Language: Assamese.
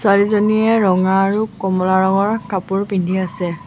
ছোৱালীজনীয়ে ৰঙা আৰু কমলা ৰঙৰ কাপোৰ পিন্ধি আছে।